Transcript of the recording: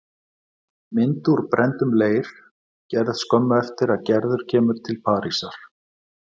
Mynd úr brenndum leir, gerð skömmu eftir að Gerður kemur til Parísar.